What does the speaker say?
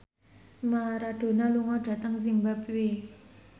Maradona lunga dhateng zimbabwe